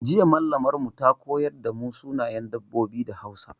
Jiya Mallamar mu ta koyar da mu sunayen dabbobi da Hausa.